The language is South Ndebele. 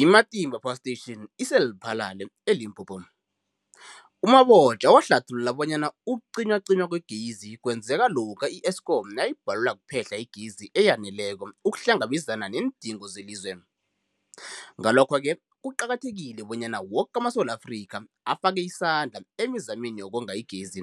I-Matimba Power Station ise-Lephalale, eLimpopo. U-Mabotja wahlathulula bonyana ukucinywacinywa kwegezi kwenzeka lokha i-Eskom nayibhalelwa kuphe-hla igezi eyaneleko ukuhlangabezana neendingo zelizwe. Ngalokho-ke kuqakathekile bonyana woke amaSewula Afrika afake isandla emizameni yokonga igezi.